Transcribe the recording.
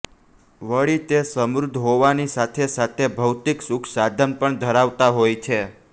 વળી તે સમૃદ્ધ હોવાની સાથે સાથે ભૌતિક સુખ સાધન પણ ધરાવતા હોય છે